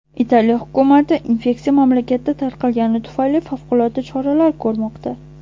Italiya hukumati infeksiya mamlakatda tarqalgani tufayli favqulodda choralar ko‘rmoqda.